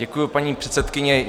Děkuji, paní předsedkyně.